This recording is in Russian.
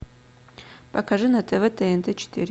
покажи на тв тнт четыре